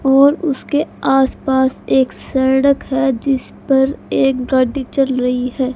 और उसके आस पास एक सड़क है जिस पर एक गाड़ी चल रही है।